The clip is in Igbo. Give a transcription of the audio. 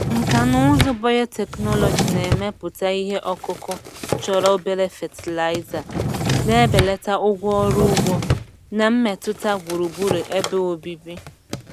Nkà na ụzụ biotechnology na-emepụta ihe ọkụkụ chọrọ obere fatịlaịza, na-ebelata ụgwọ ọrụ ugbo na mmetụta gburugburu ebe obibi.